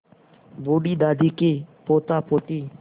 बूढ़ी दादी के पोतापोती